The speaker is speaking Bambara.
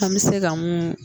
An bɛ se ka mun